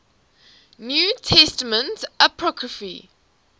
new testament apocrypha